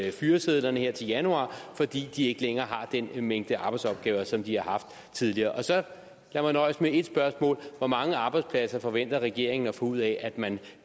i fyresedlerne her til januar det fordi de ikke længere har den mængde arbejdsopgaver som de har haft tidligere så lad mig nøjes med et spørgsmål hvor mange arbejdspladser forventer regeringen at få ud af at man